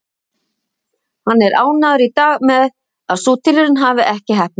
Hann er ánægður í dag með að sú tilraun hafi ekki heppnast.